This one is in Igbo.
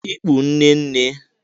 Ikpu nne Nne